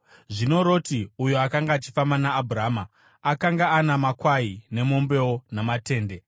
Zvino Roti, uyo akanga achifamba naAbhurama, akanga ana makwai nemombewo namatende.